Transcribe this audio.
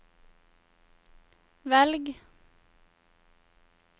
velg